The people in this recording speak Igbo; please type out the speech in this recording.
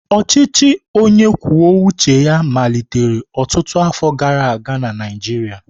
Ọchịchị onye kwuo uche ya malitere ọtụtụ afọ gara aga na Naịjirịa.